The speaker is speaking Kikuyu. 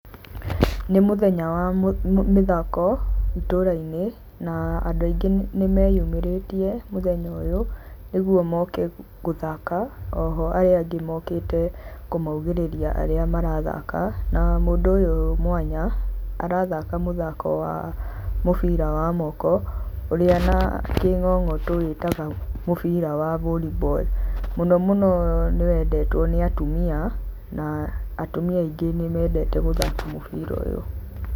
Nĩ mũthenya wa mĩthako itũra-inĩ. Na andũ aingĩ nĩ meyumĩrĩtie mũthenya ũyũ, nĩguo moke gũthaka, oho arĩa angĩ mokĩte kũmaũgĩrĩria arĩa marathaka. Na mũndũ ũyũ mwanya, arathaka mũthako wa mũbira wa moki, ũrĩa na kĩng'ong'o tũwĩtaga mũbira wa vollyball. Mũno mũno nĩ wendetwo nĩ atumia, na atumia aingĩ nĩ mendeta gũthaka mũbira ũyũ.